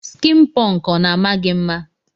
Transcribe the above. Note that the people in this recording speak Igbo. Skin punk ọna ama gi mma.